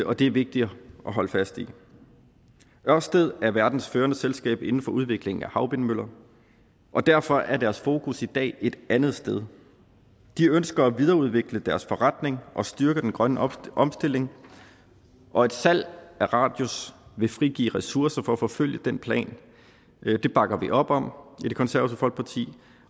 og det er vigtigt at holde fast i ørsted er verdens førende selskab inden for udviklingen af havvindmøller og derfor er deres fokus i dag et andet sted de ønsker at videreudvikle deres forretning og styrke den grønne omstilling og et salg af radius vil frigive ressourcer til at forfølge den plan det bakker vi op om i det konservative folkeparti